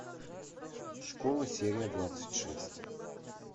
школа серия двадцать шесть